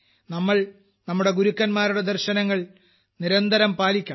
നമുക്ക് നമ്മുടെ ഗുരുക്കന്മാരുടെ ദർശനങ്ങൾ നിരന്തരം പഠിക്കണം